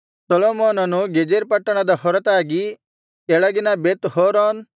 ಸೊಲೊಮೋನನು ಗೆಜೆರ್ ಪಟ್ಟಣದ ಹೊರತಾಗಿ ಕೆಳಗಿನ ಬೆತ್ ಹೋರೋನ್